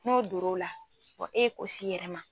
N'o dor'o la wa e ye ko s'i yɛrɛ ma.